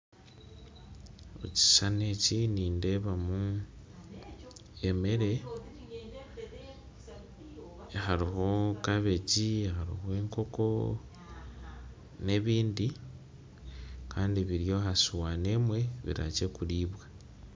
Omu kishushani eki nindeebamu emere hariho kabegi, hariho enkoko n'ebindi kandi biri aha sowaani emwe biri hakye kuriibwa